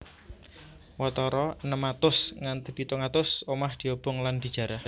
Watara enem atus nganti pitung atus omah diobong lan dijarah